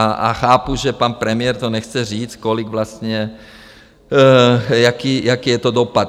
A chápu, že pan premiér to nechce říct, kolik vlastně, jaký je to dopad.